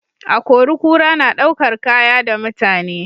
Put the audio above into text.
Akori-kura na ɗaukar Kaya da mutane